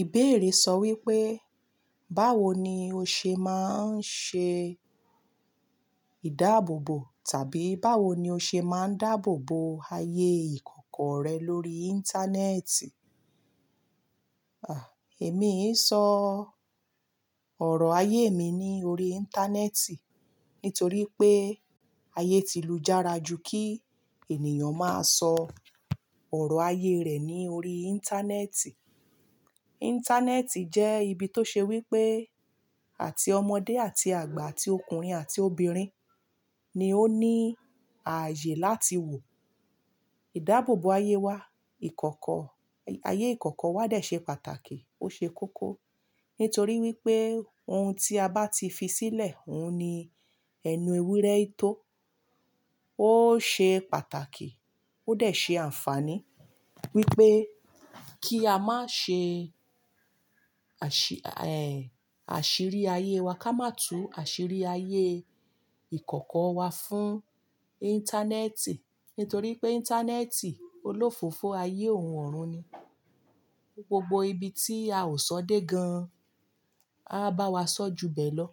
Ìbéèrè sọ wípé, báwo ni o ṣe máa ń ṣe ìdáàbòbò tàbí báwo ni o ṣe máa ń dáàbò bo ayé ìkọ̀kọ̀ rẹ lórí Íńtánẹ́ẹ̀tì? À, èmi ń sọ ọ̀rọ̀ ayé mi ní orí Íńtánẹ́ẹ̀tì nítorí pé ayé ti lù jára ju kí ènìyàn máa sọ ọ̀rọ̀ ayé rẹ̀ ní orí Íńtánẹ́ẹ̀tì. Íńtánẹ́ẹ̀tì jẹ́ ibi tó ṣe wípé àti ọmọdé àti àgbà àti ọkùnrin àti obìnrin ni ó ní ààyè láti wò ìdáàbòbò ayé wa, ikoko Ayé ìkọ̀kọ̀ wa dà ṣe pàtàkì, ó ṣe kókó. Nítorí wípé ohun tí a bá ti fi sílẹ̀, òun ni ẹnu ewúrẹ́ tó. Ó ṣe pàtàkì ó dẹ̀ ṣe àǹfààní wípé kí a má ṣe àṣìrí ayé wa, ká má tu àṣìrí ayé ìkọ̀kọ̀ wa fún Íńtánẹ́ẹ̀tì. Nítorí pé Íńtánẹ́ẹ̀tì olófòfò ayé òun ọ̀run ni. Gbogbo ibi tí a ò sọ dé gan-an, a bá wa sọ ju bẹ̀ lọ.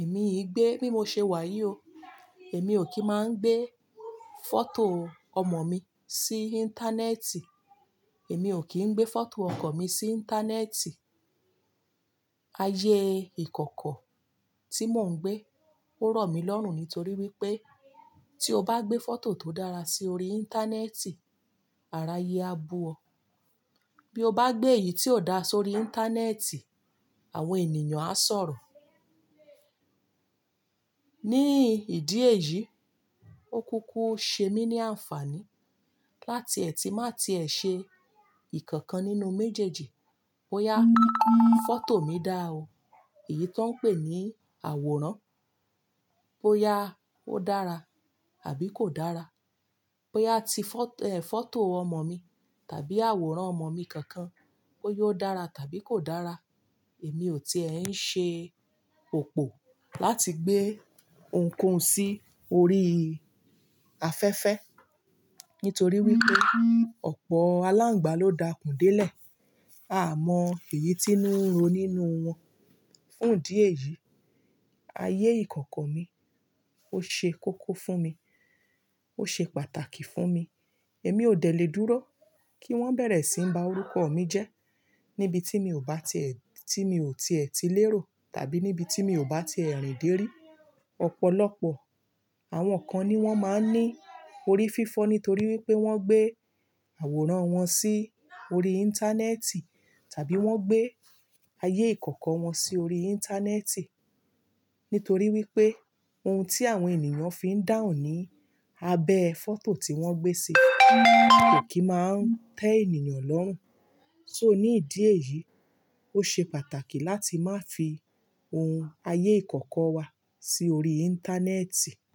Èmi i gbé, bí mo ṣe wà yii o Èmi ò kí ń má gbé fọ́tò ọmọ mi sí Íńtánẹ́ẹ̀tì. Èmi ò kí ń gbé fọ́tò ọkọ̀ mi sí Íńtánẹ́ẹ̀tì. Ayé ìkọ̀kọ̀ tí mò ń gbé ó rọ̀ mí lọ́rùn nítorí wípé tí o bá gbé fọ́tò tó dára sí orí Íńtánẹ́ẹ̀tì, ara ayé á bu ọ. Bí o bá gbé èyí tí ò da sórí Íńtánẹ́ẹ̀tì, àwọn ènìyàn á sọ̀rọ̀. Ní ìdí èyí, ó kúkú ṣe mí ní àǹfààní láti ẹ ti má ti ẹ ṣe ìkankan nínú méjèèjì bóyá fọ́tò mi dá o. Èyí tó ń pè ní àwòrán. Bóyá ó dára àbí kò dára. Bóyá ti fọ́tò ọmọ mi tàbí àwòrán ọmọ mi kankan bóyá ó dára tàbí kò dára, èmi ò tiẹ̀ ń ṣe òpó láti gbé ohunkóhun sí orí afẹ́fẹ́. Nítorí wípé ọ̀pọ̀ aláǹgbà ló dakùn délẹ̀. A mọ èyí t'ińu n ro nínú wọn. Fún ìdí èyí, ayé ìkọ̀kọ̀ mi ó ṣe kókó fún mi, ó ṣe pàtàkì fún mi. Èmi ò dẹ̀ le dúró kí wọ́n bẹ̀rẹ̀ sí ń ba orúkọ mi jẹ́ níbi tí mi ò bá ti ẹ̀, tí mi ò tiẹ̀ ti lérò tàbí níbi tí mi ò bá ti ẹ̀ rìn de rí. Ọ̀pọ̀lọpọ̀ àwọn kan ni wọ́n máa ń ní orí fífọ́ nítorí wípé wọ́n gbé àwòrán wọn sí orí Íńtánẹ́ẹ̀tì tàbí wọ́n gbé ayé ìkọ̀kọ̀ wọn sí orí Íńtánẹ́ẹ̀tì. Nítorí wípé ohun tí àwọn ènìyàn fi ń dahun ní abẹ́ fọ́tò tí wọ́n gbé sí kò kí máa ń tẹ ènìyàn lọ́rùn. So ní ìdí èyí, ó ṣe pàtàkì láti má fi ohun ayé ìkọ̀kọ̀ wa sí orí Íńtánẹ́ẹ̀tì.